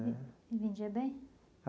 E vendia bem?